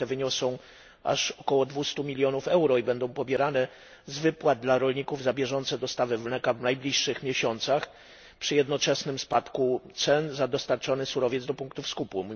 Kary te wyniosą aż około 200 mln euro i będą pobierane z wypłat dla rolników za bieżące dostawy mleka w najbliższych miesiącach, przy jednoczesnym spadku cen za dostarczony surowiec do punktów skupu.